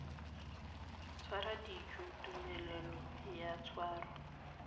tshwara dijo tumelelo ya tshwaro